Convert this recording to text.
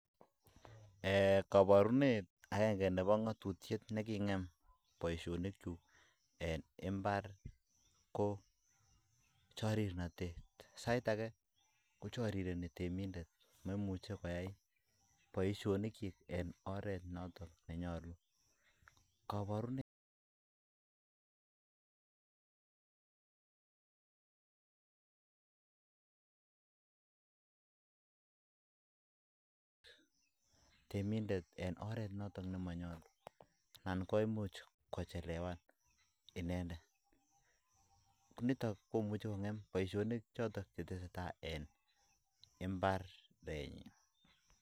Kaborunet agenge nebo ngatutiet nekingem boisionikyuk en mbar ko chorirnotet sait age ko chorireni temindet momuche kotem boisionik kyik en oret noton ne nyolu Kaborunet temindet en oret noton ne manyolu anan koimuch kochelewan inendet niton komuch kongem boisionik choton Che tesetai en mbarenyin